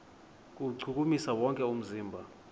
kuwuchukumisa wonke umzimba